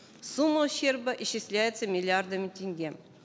сумма ущерба исчисляется миллиардами тенге